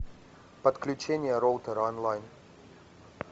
подключение роутера онлайн